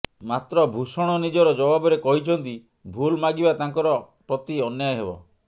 ମାତ୍ର ଭୂଷଣ ନିଜର ଜବାବରେ କହିଛନ୍ତି ଭୁଲ ମାଗିବା ତାଙ୍କର ପ୍ରତି ଅନ୍ୟାୟ ହେବ